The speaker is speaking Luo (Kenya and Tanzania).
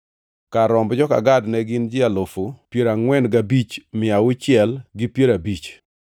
Kar romb joka Gad ne gin ji alufu piero angʼwen gabich, mia auchiel gi piero abich (45,650).